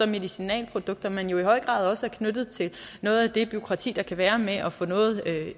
medicinalprodukter men i høj grad også knyttet til noget af det bureaukrati der kan være med at få noget